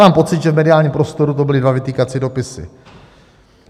Mám pocit, že v mediálním prostoru to byly dva vytýkací dopisy.